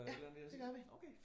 Ja det gør vi